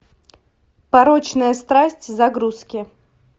порочная страсть загрузки